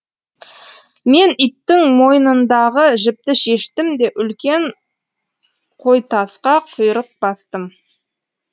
мен иттің мойнындағы жіпті шештім де үлкен қойтасқа құйрық бастым